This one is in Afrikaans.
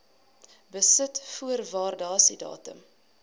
besit voor waardasiedatum